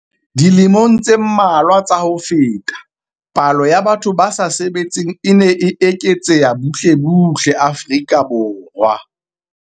Dilemong tse mmalwa tsa ho feta, palo ya batho ba sa sebetseng e ne e eketseha butle butle Afrika Borwa.